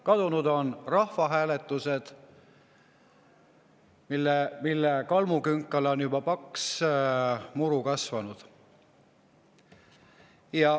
Kadunud on rahvahääletused, mille kalmukünkale on juba paks muru kasvanud.